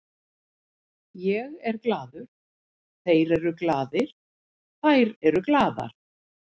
Ég er glaður, þeir eru glaðir, þær eru glaðar.